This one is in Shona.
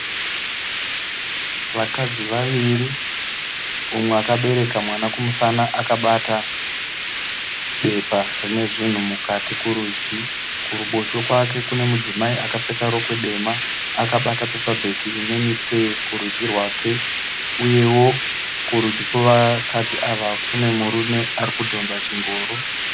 Vakadzi vaviri mumwe akabereka mwana kumusana akabata bepa rinezvinhu mukati kurudyi. Kuruboshwe kwake kune mudzimai akapfeka rokwe dema akabata pepabheki rine mutsee kurudyi rwake. Uyewo kurudyi kwevakadzi ava kune murume arikudhonza chingoro.